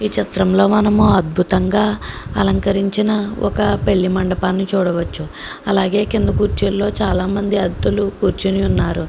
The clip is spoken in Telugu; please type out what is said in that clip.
ఈ చిత్రంలో మనము అద్భుతంగా అలంకరించిన ఒక పెళ్లి మండపాన్ని చూడవచ్చు అలాగే కింద కుర్చీలో చాలామంది అతిధులు కూర్చుని ఉన్నారు.